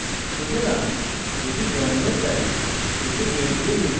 সুতরাং এটি জন্মের তারিখ